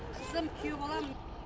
қызым күйеу балам